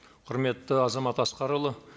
құрметті азамат асқарұлы